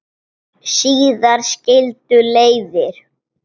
Síðar skildu leiðir.